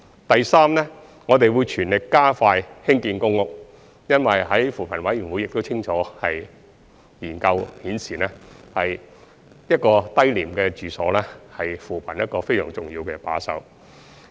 第三，我們會全力加快興建公屋，因為扶貧委員會的研究已清楚顯示，低廉住所是扶貧工作一個非常重要的把手。